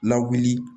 Lawuli